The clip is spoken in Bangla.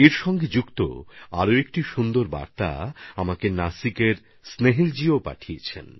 এই প্রসঙ্গে নাসিকের স্নেহিলজি আমাকে একটি সুন্দর বার্তা পাঠিয়েছেন